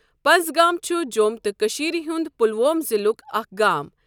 پَنزگام چھُ جۆم تہٕ کٔشیٖر ہُنٛد پلوۄم ضِلُک اَکھ گام۔